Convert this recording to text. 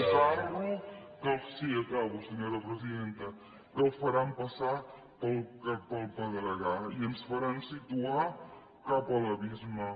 un carro sí acabo senyora presidenta que el faran passar pel pedregar i ens faran situar cap a l’abisme